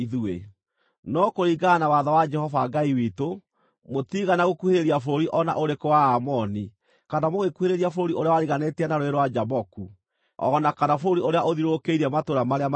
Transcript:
No kũringana na watho wa Jehova Ngai witũ, mũtiigana gũkuhĩrĩria bũrũri o na ũrĩkũ wa Aamoni, kana mũgĩkuhĩrĩria bũrũri ũrĩa wariganĩtie na Rũũĩ rwa Jaboku, o na kana bũrũri ũrĩa ũthiũrũrũkĩirie matũũra marĩa marĩ irĩma-inĩ.